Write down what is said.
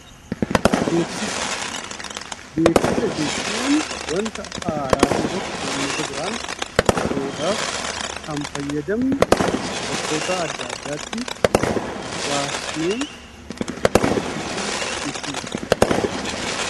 Beeksisa jechuun wanta haaraa ta'e tokko uummata biraan ga'uudhaaf kanfayyadamnu, bakkoota adda addaatti baasnee beeksisnu jechuudha.